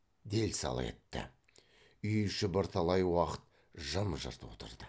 дел сал етті үй іші бірталай уақыт жым жырт отырды